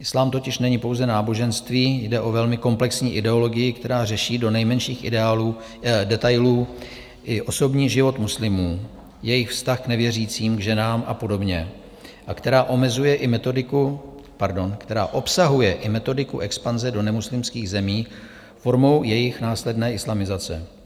Islám totiž není pouze náboženství, jde o velmi komplexní ideologii, která řeší do nejmenších detailů i osobní život muslimů, jejich vztah k nevěřícím, k ženám a podobně a která obsahuje i metodiku expanze do nemuslimských zemí formou jejich následné islamizace.